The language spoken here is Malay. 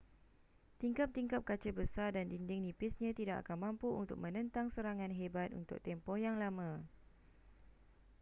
tingkap-tingkap kaca besar dan dinding nipisnya tidak akan mampu untuk menentang serangan hebat untuk tempoh yang lama